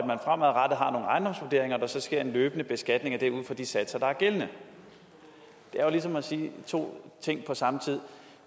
der så sker en løbende beskatning af det ud fra de satser der er gældende det er jo ligesom at sige to ting på samme tid